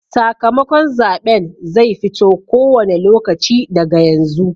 Sakamakon zaɓen zai fito ko wane lokaci daga yanzu.